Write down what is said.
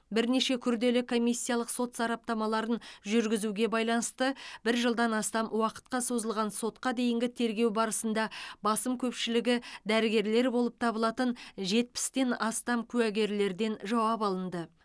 бірнеше күрделі комиссиялық сот сараптамаларын жүргізуге байланысты бір жылдан астам уақытқа созылған сотқа дейінгі тергеу барысында басым көпшілігі дәрігерлер болып табылатын жетпістен астам куәгерлерден жауап алынды